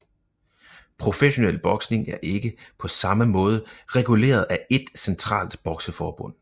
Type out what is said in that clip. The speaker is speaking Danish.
Professionel boksning er ikke på samme måde reguleret af ét centralt bokseforbund